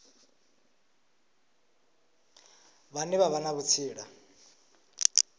vhane vha vha na vhutsila